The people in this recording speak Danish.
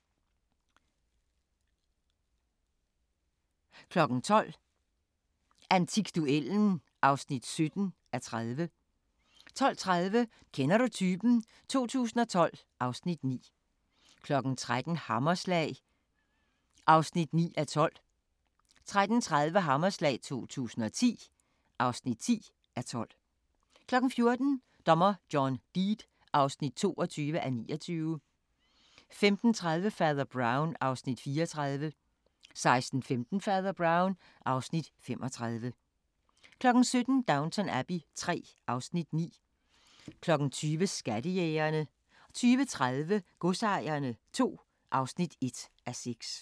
12:00: Antikduellen (17:30) 12:30: Kender du typen? 2012 (Afs. 9) 13:00: Hammerslag (9:12) 13:30: Hammerslag 2010 (10:12) 14:00: Dommer John Deed (22:29) 15:30: Fader Brown (Afs. 34) 16:15: Fader Brown (Afs. 35) 17:00: Downton Abbey III (Afs. 9) 20:00: Skattejægerne 20:30: Godsejerne II (1:6)